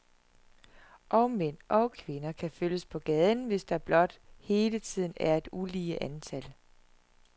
Og mænd og kvinder kan følges på gaden, hvis der blot hele tiden er et ulige antal.